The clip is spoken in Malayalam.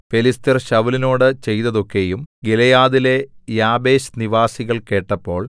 ഫെലിസ്ത്യർ ശൌലിനോടു ചെയ്തതൊക്കെയും ഗിലെയാദിലെ യാബേശ് നിവാസികൾ കേട്ടപ്പോൾ